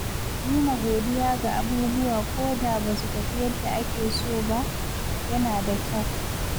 Nuna godiya ga abubuwa ko da ba su tafi yadda ake so ba, yana da kyau.